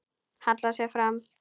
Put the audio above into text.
Hallar sér fram.